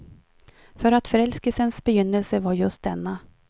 För att förälskelsens begynnelse var just denna.